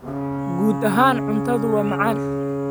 Guud ahaan, cuntadu waa macaan.